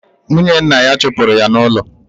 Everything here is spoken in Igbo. Nwunye nna ya chụpụrụ ya n'ụlọ.